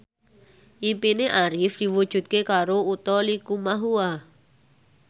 impine Arif diwujudke karo Utha Likumahua